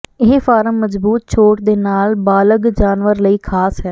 ਇਹ ਫਾਰਮ ਮਜ਼ਬੂਤ ਛੋਟ ਦੇ ਨਾਲ ਬਾਲਗ ਜਾਨਵਰ ਲਈ ਖਾਸ ਹੈ